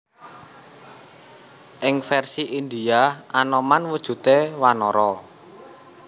Ing vèrsi Indhia Anoman wujudé wanara